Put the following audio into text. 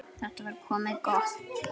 Þetta var komið gott.